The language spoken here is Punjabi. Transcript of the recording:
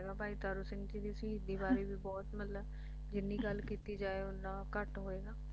ਵਧੀਆ ਹੈਗਾ ਭਾਈ ਤਾਰੂ ਸਿੰਘ ਜੀ ਦੀ ਸ਼ਹੀਦੀ ਬਾਰੇ ਬਹੁਤ ਮਤਲਬ ਜਿੰਨੀ ਗੱਲ ਕੀਤੀ ਜਾਵੇ ਓਨ੍ਨਾ ਘੱਟ ਹੋਏਗਾ